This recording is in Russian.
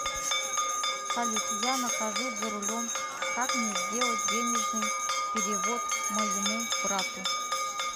салют я нахожусь за рулем как мне сделать денежный перевод моему брату